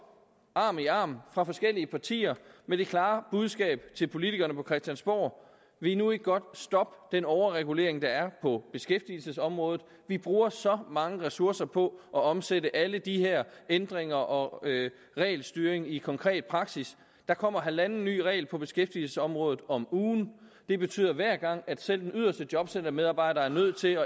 arm i arm fra forskellige partier med dette klare budskab til politikerne på christiansborg vil i nu ikke godt stoppe den overregulering der er på beskæftigelsesområdet vi bruger så mange ressourcer på at omsætte alle de her ændringer og al den regelstyring i konkret praksis der kommer halvanden ny regel på beskæftigelsesområdet om ugen det betyder hver gang at selv den yderste jobcentermedarbejder er nødt til